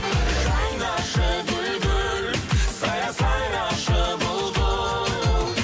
жайнашы гүл гүл сайра сайрашы бұлбұл